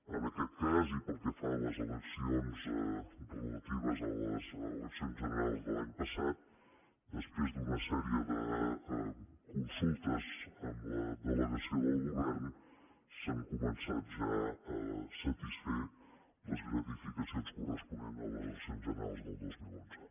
en aquest cas i pel que fa a les eleccions relatives a les eleccions generals de l’any passat després d’una sèrie de consultes amb la delegació del govern s’han començat ja a satisfer les gratificacions corresponents a les eleccions generals del dos mil onze